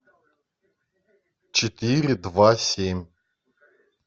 четыре два семь